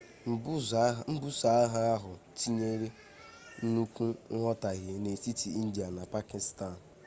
mbuso agha ahụ tinyere nnukwu nghọtahie n'etiti india na pakịstan